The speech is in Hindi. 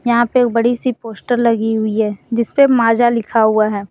यहां पे एक बड़ी सी पोस्टर लगी हुई है जिसपे माजा लिखा हुआ है।